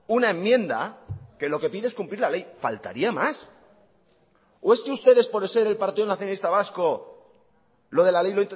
una enmienda que lo que pide es cumplir la ley faltaría más o es que ustedes por ser el partido nacionalista vasco lo de la ley